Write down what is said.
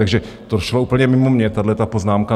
Takže to šlo úplně mimo mě, tahle poznámka.